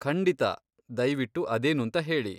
ಖಂಡಿತಾ, ದಯ್ವಿಟ್ಟು ಅದೇನೂಂತ ಹೇಳಿ.